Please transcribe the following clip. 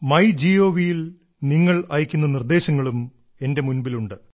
my gov ൽ നിങ്ങൾ അയക്കുന്ന നിർദ്ദേശങ്ങളും എന്റെ മുൻപിൽ ഉണ്ട്